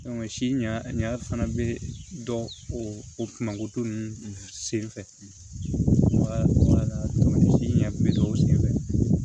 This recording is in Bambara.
si ɲa fana bɛ dɔn o kuma to ninnu senfɛ si ɲa bɛ dɔw sen fɛ